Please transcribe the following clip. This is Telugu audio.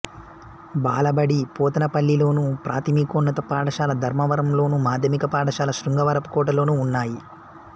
బాలబడి పోతనపల్లిలోను ప్రాథమికోన్నత పాఠశాల ధర్మవరంలోను మాధ్యమిక పాఠశాల శృంగవరపుకోటలోనూ ఉన్నాయి